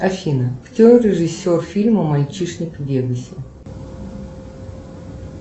афина кто режисер фильма мальчишник в вегасе